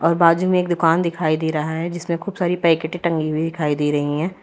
बाजू में एक दुकान दिखाई दे रहा है जिसमें खूब सारी पैकेटे टंगी हुई दिखाई दे रही है।